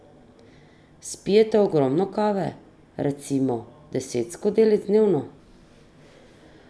Spijete ogromno kave, recimo deset skodelic dnevno?